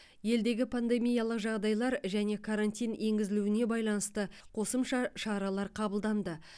елдегі пандемиялық жағдайлар және карантин енгізілуіне байланысты қосымша шаралар қабылданды